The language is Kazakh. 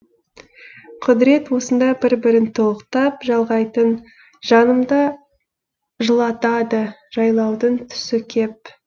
құдірет осында бір бірін толықтап жалғайтын жанымды жылатады жайлаудың түсі кеп